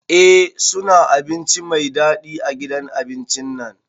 Eh suna abinci Mai dadi a gidan abincin nan.